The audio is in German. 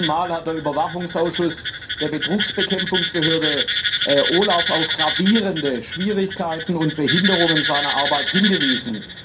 Zum dritten Mal hat der Überwachungsausschuss der Betrugsbekämpfungsbehörde OLAF auf gravierende Schwierigkeiten und Behinderungen seiner Arbeit hingewiesen.